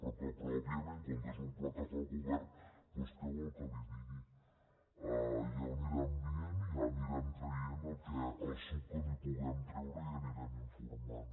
però que òbviament com que és un pla que fa el govern doncs què vol que li digui ja ho anirem dient i anirem traient el suc que li’n puguem treure i n’anirem informant